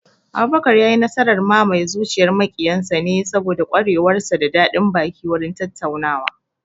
Abubakar ya yi nasarar mamaye zuciyar maƙiyan sa ne saboda ƙwarewar sa da daɗin baki wurin tattaunawa